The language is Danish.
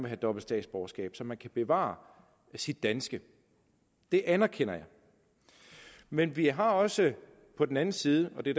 have dobbelt statsborgerskab så man kan bevare sit danske det anerkender jeg men vi har også på den anden side og det